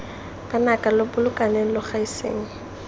banaka lo bolokaneng lo gaiseng